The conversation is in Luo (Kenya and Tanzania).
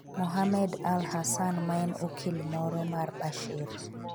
Mohamed al-Hassan, maen okil moro mar Bashir,